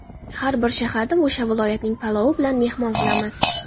Har bir shaharda o‘sha viloyatning palovi bilan mehmon qilamiz.